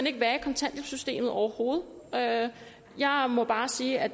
ikke være i kontanthjælpssystemet overhovedet jeg jeg må bare sige at